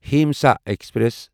Himsa express